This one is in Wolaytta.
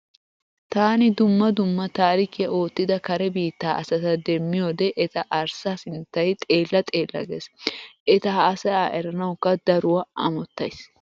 Taani dumma dumma taarikiya oottida kare biittaa asata demmiyode eta arssa sinttay xeella xeella gees. Eta haasaya eranawukka daruwa amottays.